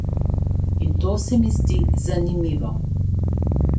In to se mi zdi zanimivo.